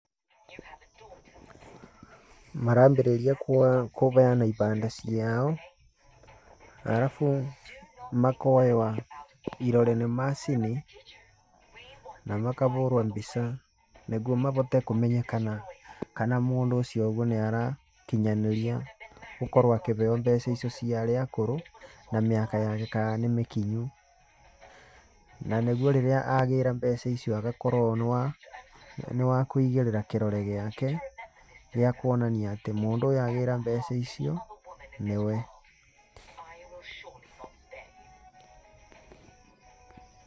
Marambĩrĩria kũbeana ibandĩ ciao, arabu makoywa irore nĩ macini, na makabũrwa mbica nĩbuo mabote kũmenyekana kana mũndũ ũcio nĩarakinyanĩria gũkorwo akĩbeo mbeca icio cia arĩa akũrũ na mĩaka yake kana nĩ mĩkinyu. Na nĩguo rĩrĩa agĩra mbeca icio agakorwo nĩ wa kũigĩrĩra kĩrore gĩake gĩa kuonania atĩ mũndũ ũyũ agĩra mbeca icio nĩwe.